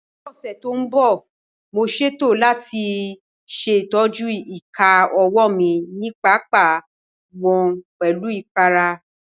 Ní ọ̀sẹ̀ tó ń bọ̀, mo ṣètò láti ṣe ìtọ́jú ìka ọwọ́ mi nípa pípa wọ́n pẹ̀lú ìpara